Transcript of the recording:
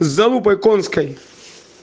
с залупой конской